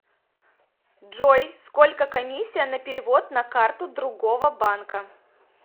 джой сколько комиссия на перевод на карту другого банка